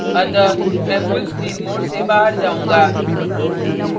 अतः मैं full screen mode से बाहर जाउंगा